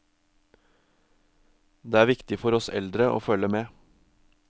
Det er viktig for oss eldre å følge med.